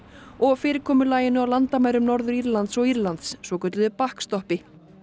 og fyrirkomulaginu á landamærum Norður Írlands og Írlands svokölluðu